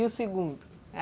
E o segundo?